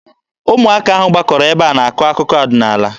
Ụmụaka ahụ gbakọrọ ebe a na-akọ akụkọ ọdịnaala.